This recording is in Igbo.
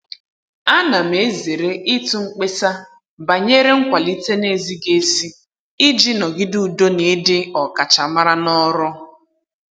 Ana m ezere ịtụ mkpesa banyere nkwalite na-ezighị ezi iji nọgide udo na ịdị ọkachamara n'ọrụ.